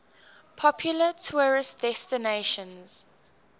popular tourist destinations